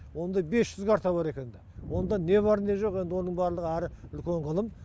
онда бес жүз карта бар екенді онда не бар не жоқ енді оның барлығы әрі үлкен ғылым